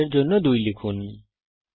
ব্যাসার্ধের জন্যে মান 2লিখুন